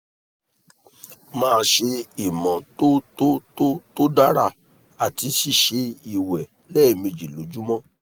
máa ṣe ìmọ́tótótó tó dára àti ṣíṣe ìwẹ̀ lẹ́ẹ̀mejì lójúmọ́